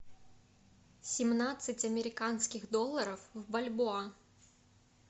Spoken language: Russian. семнадцать американских долларов в бальбоа